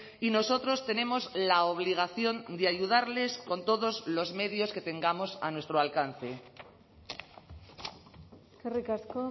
y nosotros tenemos la obligación de ayudarles con todos los medios que tengamos a nuestro alcance eskerrik asko